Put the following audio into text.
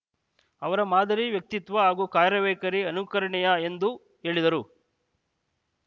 ಅವರ ಮಾದರಿ ವ್ಯಕ್ತಿತ್ವ ಹಾಗೂ ಕಾರ್ಯ ವೈಖರಿ ಅನುಕರಣೀಯ ಎಂದು ಹೇಳಿದರು